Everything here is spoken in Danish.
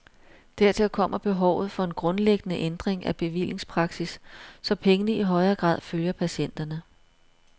Dertil kommer behovet for en grundlæggende ændring af bevillingspraksis, så pengene i højere grad følger patienterne.